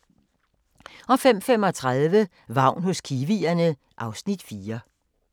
05:35: Vagn hos kiwierne (Afs. 4)